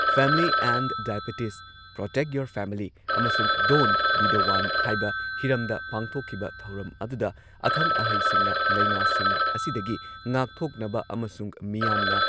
family and diabetes protect your family ꯑꯃꯁꯨꯡ don't be the one ꯍꯥꯏꯕ ꯍꯤꯔꯝꯗ ꯄꯥꯡꯊꯣꯛꯈꯤꯕ ꯊꯧꯔꯝ ꯑꯗꯨꯗ ꯑꯈꯪ ꯑꯍꯩꯁꯤꯡꯅ ꯂꯩꯅꯥꯁꯤꯡ ꯑꯁꯤꯗꯒꯤ ꯉꯥꯛꯊꯣꯛꯅꯕ ꯑꯃꯁꯨꯡ ꯃꯤꯌꯥꯝꯅ